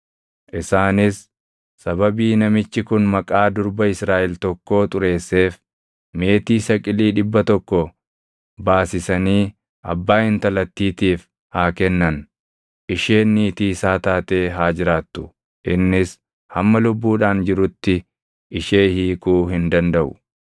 Isaanis sababii namichi kun maqaa durba Israaʼel tokkoo xureesseef meetii saqilii dhibba tokko baasisanii abbaa intalattiitiif haa kennan; isheen niitii isaa taatee haa jiraattu; innis hamma lubbuudhaan jirutti ishee hiikuu hin dandaʼu.